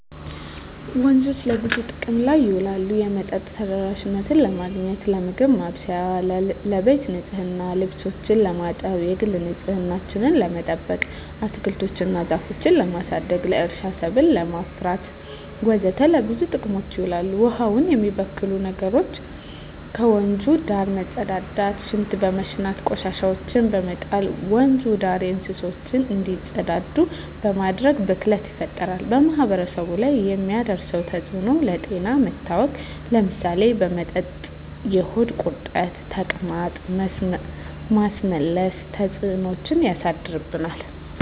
ወንዞች ለብዙ ጥቅም ላይ ይውላሉ የመጠጥ ተደራሽነትን ለማግኘት, ለምግብ ማብሰያ , ለቤት ንፅህና , ልብሶችን ለማጠብ, የግል ንፅህናችን ለመጠበቅ, አትክልቶች እና ዛፎችን ለማሳደግ, ለእርሻ ሰብል ለማፍራት ወዘተ ለብዙ ጥቅም ይውላል። ውሀውን የሚበክሉ ዋና ነገሮች ከወንዙ ዳር መፀዳዳት , ሽንት በመሽናት, ቆሻሻዎችን በመጣል, ወንዙ ዳር እንስሳቶች እንዲፀዳዱ በማድረግ ብክለት ይፈጠራል። በማህበረሰቡ ላይ የሚያደርሰው ተፅዕኖ ለጤና መታወክ ለምሳሌ በመጠጥ የሆድ ቁርጠት , ተቅማጥ, ማስመለስ ተፅዕኖች ያሳድርብናል።